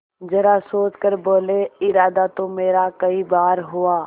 जरा सोच कर बोलेइरादा तो मेरा कई बार हुआ